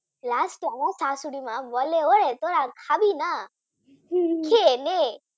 last এ আমার শাশুড়ি মা বলে এই তোরা খাবিনা? খেয়েনে